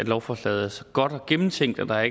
at lovforslaget er så godt og gennemtænkt at der